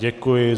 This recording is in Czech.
Děkuji.